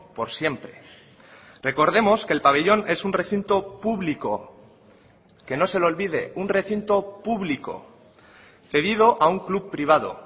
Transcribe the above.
por siempre recordemos que el pabellón es un recinto público que no se le olvide un recinto público cedido a un club privado